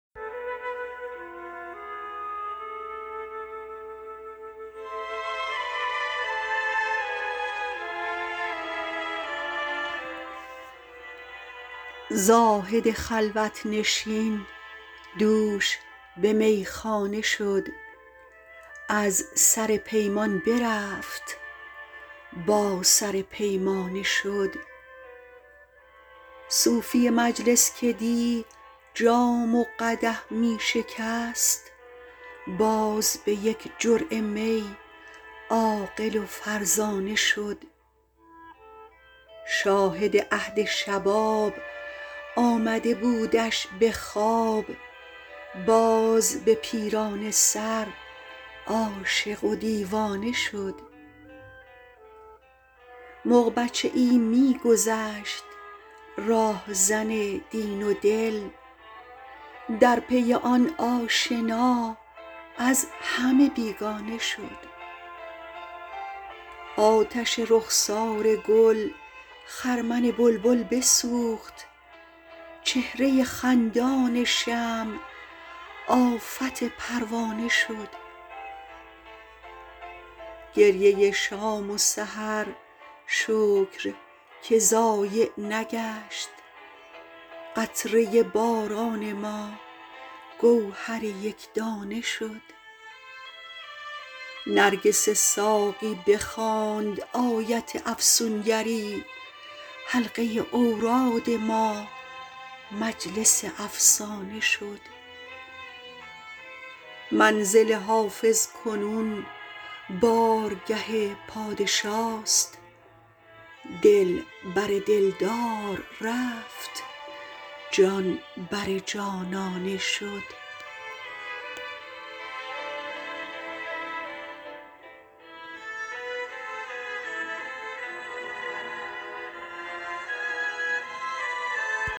زاهد خلوت نشین دوش به میخانه شد از سر پیمان برفت با سر پیمانه شد صوفی مجلس که دی جام و قدح می شکست باز به یک جرعه می عاقل و فرزانه شد شاهد عهد شباب آمده بودش به خواب باز به پیرانه سر عاشق و دیوانه شد مغ بچه ای می گذشت راهزن دین و دل در پی آن آشنا از همه بیگانه شد آتش رخسار گل خرمن بلبل بسوخت چهره خندان شمع آفت پروانه شد گریه شام و سحر شکر که ضایع نگشت قطره باران ما گوهر یک دانه شد نرگس ساقی بخواند آیت افسون گری حلقه اوراد ما مجلس افسانه شد منزل حافظ کنون بارگه پادشاست دل بر دل دار رفت جان بر جانانه شد